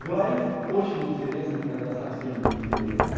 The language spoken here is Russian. говорить очень интересно когда совсем не интересно